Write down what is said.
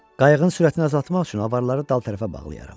Qayığın sürətini azaltmaq üçün avaraları dal tərəfə bağlayaram.